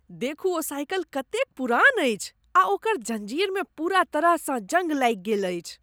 देखू ओ साइकिल कतेक पुरान अछि आ ओकर जँजीरमे पूरा तरहसँ जंग लागि गेल अछि।